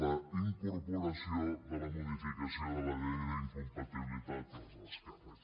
la incorporació de la modificació de la llei d’incompatibilitats dels alts càrrecs